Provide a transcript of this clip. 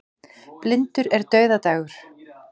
Blindur er dauðadagur.